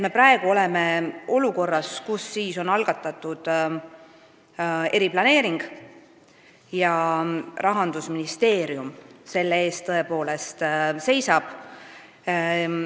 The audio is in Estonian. Praegu me oleme olukorras, kus on algatatud eriplaneering ja selle eest seisab tõepoolest Rahandusministeerium.